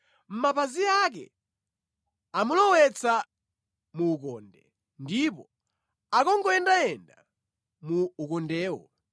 Mapazi ake amulowetsa mu ukonde ndipo akungoyendayenda mu ukondewo.